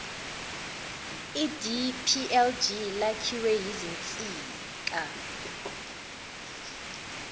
idplg lakhiwe yizinsika